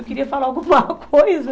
Eu queria falar alguma coisa